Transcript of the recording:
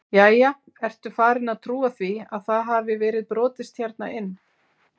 Jæja, ertu farin að trúa því að það hafi verið brotist hérna inn?